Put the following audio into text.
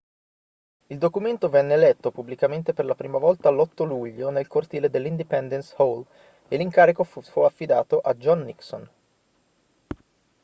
il documento venne letto pubblicamente per la prima volta l'8 luglio nel cortile dell'independence hall e l'incarico fu affidato a john nixon